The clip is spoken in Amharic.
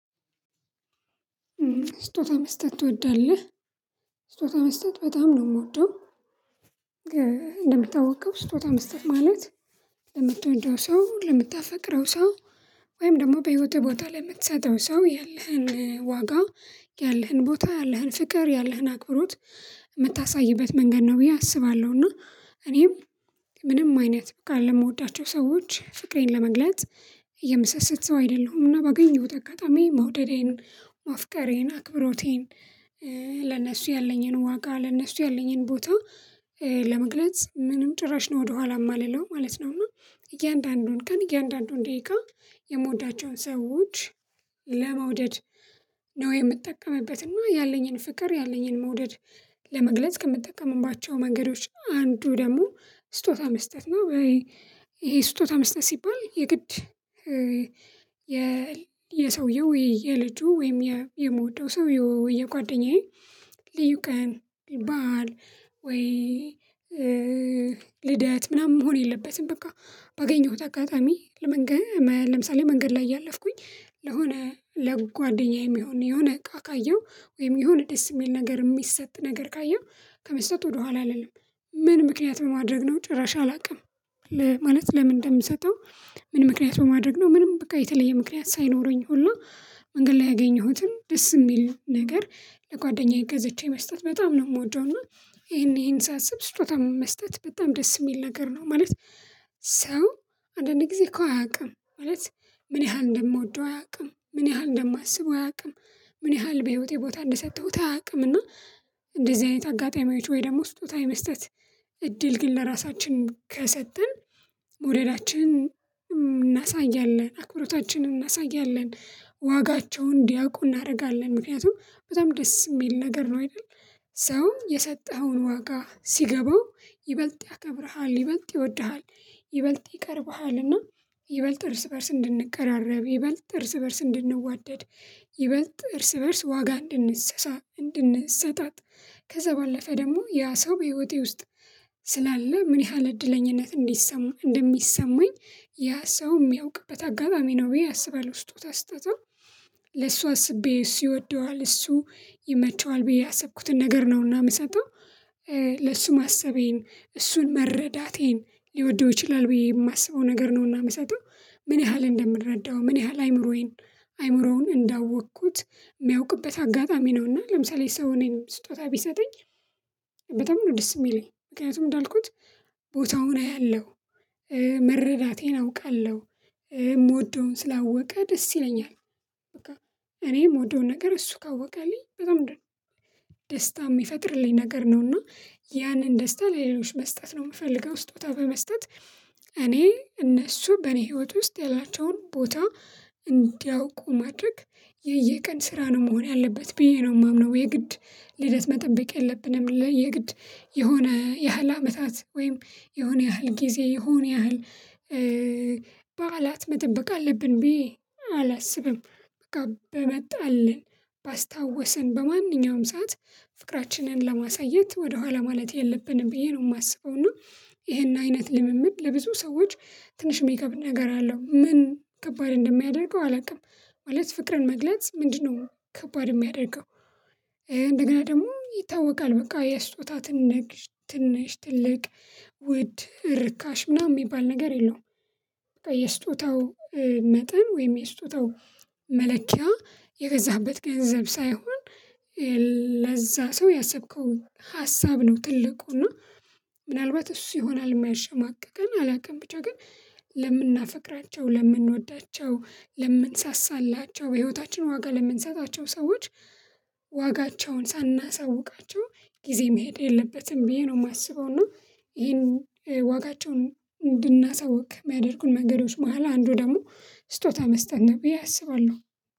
ስጦታ መስጠት ትወዳለህ? ስጦታ መስጠት በጣም ነው የምወደው። እንደምታወቀው ስጦታ መስጠት ማለት ለመጥቶ እንደው ሰው ለምታፈቅረው ሰው ወይም ደግሞ በህይወትህ ቦታ ላይ ለምትሰጠው ሰው ያለህን ዋጋ ያለህን ቦታ ያለህን ፍቅር ያለህን አክብሮት የምታሳይበት መንገድ ነው ብዬ አስባለሁ። እና እኔም ምንም አይነት ካለ የምወዳቸው ሰዎች ፍቅሬን ለመግለጽ የምሰሰት ሰው አይደለሁምና ባገኘሁት አጋጣሚ መውደዴን ማፍቀሬን አክብሮቴን ለነሱ ያለኝን ዋጋ ለነሱ ያለኝን ቦታ ለመግለጽ ምንም ጭራሽ ነው ወደኋላ ማልለው ማለት ነው እና እያንዳንዱን ቀን እያንዳንዱን ደቂቃ የምወዳቸውን ሰዎች ለመውደድ ነው የምጠቀምበት እና ያለኝን ፍቅር ያለኝን መውደድ ለመግለጽ ከምትጠቀምባቸው መንገዶች አንዱ ደግሞ ስጦታ መስጠት ነው። ይሄ ስጦታ መስጠት ሲባል የግድ የሰውየው የልጁ ወይም የምወደው ሰውዬ ወይም የጓደኛዬ ልዩ ቀን በዓል ወይ ልደት ምናምን መሆን የለበትም በቃ ባገኘሁት አጋጣሚ ለመንገድ ለምሳሌ መንገድ ላይ ያለፍኩኝ ለሆነ ለጓደኛዬ የሚሆን የሆነ እቃ ካየሁ ወይም የሆነ ደስ የሚል ነገር የሚሰጥ ነገር ካየህ ከመስጠት ወደኋላ አልልም። ምን ምክንያት ማድረግ ነው ጭራሽ አላውቅም። ለማለት ለምን እንደምሰጠው? ምን ምክንያት በማድረግ ነው? ምንም በቃ የተለየ ምክንያት ሳይኖረኝ ሁላ መንገድ ላይ ያገኘሁትን ደስ የሚል ነገር ለጓደኛ ገዝቼ መስጠት በጣም ነው የምወደው። እና ይሄን ይሄን ሳስብ ስጦታ መስጠት በጣም ደስ የሚል ነገር ነው ማለት። ሰው አንዳንዴ ጊዜ እኮ አያውቅም ማለት ምን ያህል እንደምወደው አያውቅም ምን ያህል እንደማስበው አያውቅም። ምን ያህል በህይወቴ ቦታ እንደሰጠሁት አያውቅም። እና እንደዚህ አይነት አጋጣሚዎች ወይ ደግሞ ስጦታ የመስጠት እድል ግን ለራሳችን ከሰጠን መውደዳችን እናሳያለን አክብሮታችንን እናሳያለን ዋጋቸውን እንዲያውቁ እናደርጋለን ምክንያቱም በጣም ደስ የሚል ነገር ነው። አይደል ሰው የሰጠኸውን ዋጋ ሲገባው ይበልጥ ያከብርሃል ይበልጥ ይወድሃል ይበልጥ ይቀርብሃልና ይበልጥ እርስ በእርስ እንድንቀራረብ ይበልጥ እርስ በእርስ እንድንዋደድ ይበልጥ እርስ በእርስ ዋጋ እንድንሰሳ እንድንሰጣት። ከዛ ባለፈ ደግሞ ያ ሰው በህይወቴ ውስጥ ስላለ ምን ያህል እድለኝነት እንዲሰማ እንደሚሰማኝ ያ ሰው የሚያውቅበት አጋጣሚ ነው ብዬ አስባለሁ። ስጦታ ስጦታው ለሱ አስቤ እሱ ይወደዋል እሱ ይመቸዋል ብዬ ያሰብኩትን ነገር ነውና የምሰጠው። ለእሱ ማሰቤን እሱን መረዳቴን ሊወደው ይችላል ብዬ የማስበው ነገር ነውና የምሰጠው። ምን ያህል እንደምረዳው ምን ያህል አይምሮዬን አይምሮውን እንዳወቅኩት የሚያውቅበት አጋጣሚ ነውና ለምሳሌ ሰው እኔንም ስጦታ ቢሰጠኝ በጣም ነው ደስ የሚለኝ ምክንያቱም እንዳልኩት ቦታውን አያለሁ መረዳቴን አውቃለሁ። የምወደውን ስላወቀ ደስ ይለኛል። እኔ የምወደውን ነገር እሱ ካወቀልኝ በጣም ደስታ የሚፈጥርልኝ ነገር ነውና ያንን ደስታ ለሌሎች መስጠት ነው የምፈልገው። ስጦታ በመስጠት እኔ እነሱ በኔ ህይወት ውስጥ ያላቸውን ቦታ እንዲያውቁ ማድረግ የየቀን ስራ ነው መሆን ያለበት ብዬ ነው የማምነው። የግድ ልደት መጠበቅ የለብንም ለየግድ የሆነ ያህል አመታት ወይም የሆነ ያህል ጊዜ የሆነ ያህል በዓላት መጠበቅ አለብን ብዬ አላስብም። በቃ በመጣልን ባስታወስን በማንኛውም ሰዓት ፍቅራችንን ለማሳየት ወደኋላ ማለት የለብንም ብዬ ነው የማስበው። እና ይሄን አይነት ልምምድ ለብዙ ሰዎች ትንሽ ሚከብድ ነገር አለው ምን ከባድ እንደሚያደርገው አላውቅም። ማለት ፍቅርን መግለጽ ምንድነው ከባድ የሚያደርገው? እንደገና ደግሞ ይታወቃል በቃ የስጦታ ትንሽ ትንሽ ትልቅ ውድ ርካሽ ምናምን የሚባል ነገር የለውም። የስጦታው መጠን ወይም የስጦታው መለኪያ የገዛበት ገንዘብ ሳይሆን ለዛ ሰው ያሰብከው ሀሳብ ነው። ትልቁና ምናልባት እሱ ይሆናል የሚያሸማቅቀን አላውቅም ብቻ ግን ለምናፈቅራቸው ለምንወዳቸው ለምንሰሳላቸው በህይወታችን ዋጋ ለምንሰጣቸው ሰዎች ዋጋቸውን ሳናሳውቃቸው ጊዜ መሄድ የለበትም ብዬ ነው የማስበው። እና ይሄን ዋጋቸውን እንድናሳውቅ የሚያደርጉን መንገዶች መሃል አንዱ ደግሞ ስጦታ መስጠት ነው ብዬ አስባለሁ።